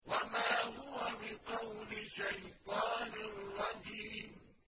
وَمَا هُوَ بِقَوْلِ شَيْطَانٍ رَّجِيمٍ